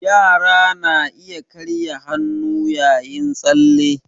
Yara na iya karya hannu yayin tsalle